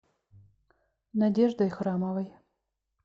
надеждой храмовой